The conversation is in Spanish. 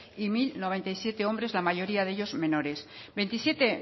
y mil noventa y siete hombres la mayoría de ellos menores veintisiete